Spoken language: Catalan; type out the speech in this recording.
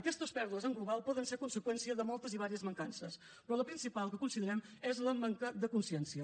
aquestes pèrdues en global poden ser conseqüència de moltes i diverses mancances però la principal que considerem és la manca de consciència